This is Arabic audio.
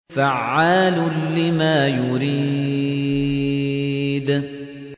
فَعَّالٌ لِّمَا يُرِيدُ